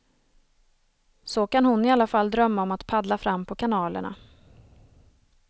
Så kan hon i alla fall drömma om att paddla fram på kanalerna.